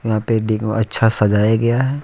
को अच्छा सजाया गया है।